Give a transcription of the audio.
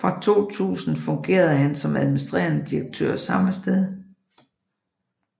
Fra 2000 fungerede han også som administrerende direktør samme sted